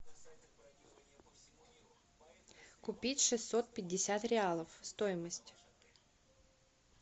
купить шестьсот пятьдесят реалов стоимость